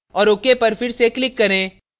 औऱ ok पर फिर से click करें